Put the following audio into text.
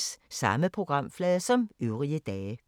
Samme programflade som øvrige dage